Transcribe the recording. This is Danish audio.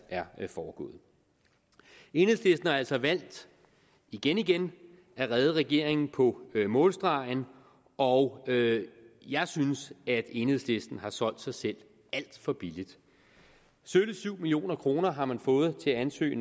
er foregået enhedslisten har altså valgt igen igen at redde regeringen på målstregen og jeg synes at enhedslisten har solgt sig selv alt for billigt sølle syv million kroner har man fået til at ansøge